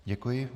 Děkuji.